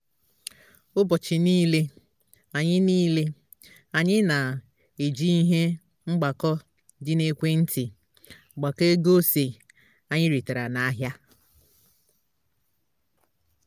ụbọchị nile anyị nile anyị na-eji ihe mgbakọ dị na ekwentị agbakọ ego ose anyị retara n'ahịa